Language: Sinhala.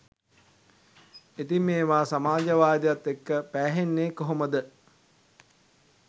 ඉතිං මේවා සමාජවාදයත් එක්ක පෑහෙන්නේ කොහොමද?